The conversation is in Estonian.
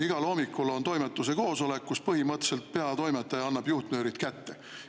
Igal hommikul on toimetuse koosolek, kus põhimõtteliselt peatoimetaja annab juhtnöörid kätte.